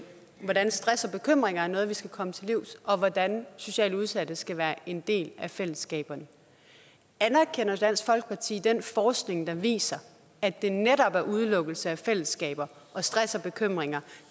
hvordan stress og bekymringer er noget vi skal komme til livs og hvordan socialt udsatte skal være en del af fællesskaberne anerkender dansk folkeparti den forskning der viser at det netop er udelukkelse fra fællesskaber og stress og bekymringer